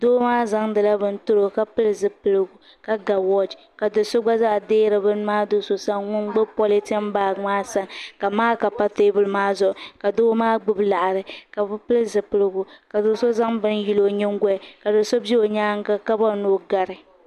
Doo maa zaŋdila bini tiri o ka pili zipiligu ka ga woochi ka do'so gba zaa deeri bini maa do'so sani ŋun gbibi politin baaji maa sani ka maaka pa teebuli maa zuɣu ka doo maa gbibi laɣari ka bɛ pili zipiligu ka do'so zaŋ bini yili o nyingoli ka do'so be o nyaanga ka bori ni o gari.